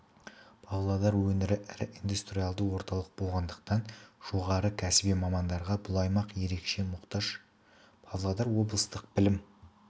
павлодар өңірі ірі индустриалды орталық болғандықтан жоғары кәсіби мамандарға бұл аймақ ерекше мұқтаж павлодар облыстық білім